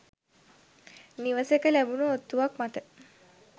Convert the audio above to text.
නිවසක ලැබුණු ඔත්තුවක් මත